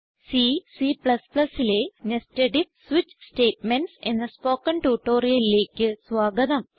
C C ലെ nested IF switch statements എന്ന spoken ട്യൂട്ടോറിയലിലേക്ക് സ്വാഗതം